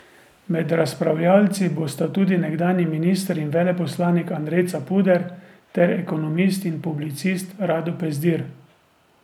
Med razpravljavci bosta tudi nekdanji minister in veleposlanik Andrej Capuder ter ekonomist in publicist Rado Pezdir.